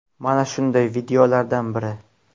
Mana shunday videolardan biri.